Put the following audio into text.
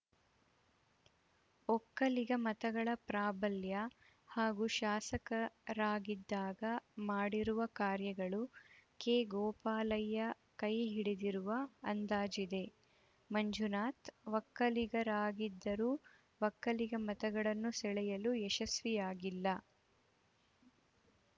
ಒಕ್ಕಲಿಗ ಮತಗಳ ಪ್ರಾಬಲ್ಯ ಹಾಗೂ ಶಾಸಕರಾಗಿದ್ದಾಗ ಮಾಡಿರುವ ಕಾರ್ಯಗಳು ಕೆಗೋಪಾಲಯ್ಯ ಕೈ ಹಿಡಿದಿರುವ ಅಂದಾಜಿದೆ ಮಂಜುನಾಥ್‌ ಒಕ್ಕಲಿಗರಾಗಿದ್ದರೂ ಒಕ್ಕಲಿಗ ಮತಗಳನ್ನು ಸೆಳೆಯಲು ಯಶಸ್ವಿಯಾಗಿಲ್ಲ